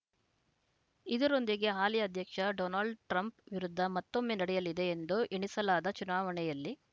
ಇದರೊಂದಿಗೆ ಹಾಲಿ ಅಧ್ಯಕ್ಷ ಡೊನಾಲ್ಡ ಟ್ರಂಪ್‌ ವಿರುದ್ಧ ಮತ್ತೊಮ್ಮೆ ನಡೆಯಲಿದೆ ಎಂದೂ ಎಣಿಸಲಾದ ಚುನಾವಣೆಯಲ್ಲಿ